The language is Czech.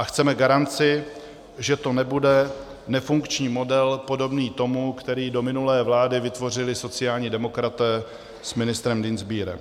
A chceme garanci, že to nebude nefunkční model podobný tomu, který do minulé vlády vytvořili sociální demokraté s ministrem Dienstbierem.